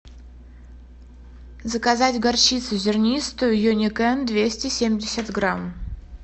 заказать горчицу зернистую юникен двести семьдесят грамм